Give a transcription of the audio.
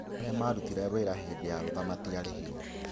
Arĩa marutire wĩra hĩndĩ ya rũtha matiarĩhirwo.